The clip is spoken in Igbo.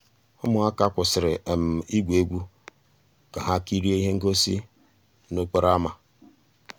ụmụ́àká kwụ́sị́rí ìgwú égwu ká há kìríé íhé ngósì n'òkpòró ámá.